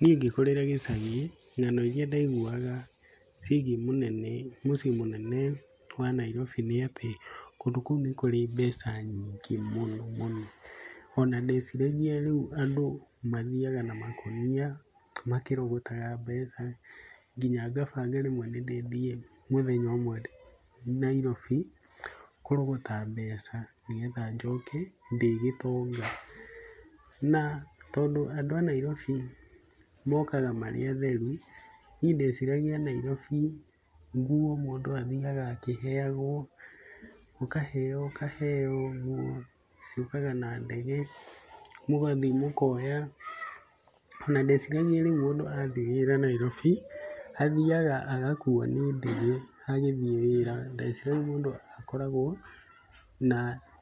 Niĩ ngĩkũrĩra gĩcagi ng'ano iria ndaiguaga ciĩgie mũnene mũciĩ mũnene wa Nairobi nĩatĩ kũndũ kũu nĩ kũrĩ mbeca nyingĩ mũno mũno, ona ndeciragia rĩu andũ mathiaga na makũnia makĩrogotaga mbeca, nginya ngabanda rĩmwe nĩndĩrĩthiĩ mũthenya ũmwe Narobi kũrogota mbeca nĩgetha njoke ndĩ gĩtonga. Na, tondũ andũ a Nairobi mokaga marĩ atheru, niĩ ndeciragia Nairobi nguo mũndũ athiaga akĩheagwo ũkaheo ũkaheo nguo ciũkaga na ndege mũgathiĩ mũkoya na ndeciragia rĩu mũndũ athiĩ wĩra Nairobi, athiaga agakuo nĩ ndege agĩthiĩ wĩra, ndeciragia mũndũ akoragwo na